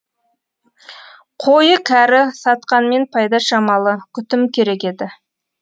қойы кәрі сатқанмен пайда шамалы күтім керек еді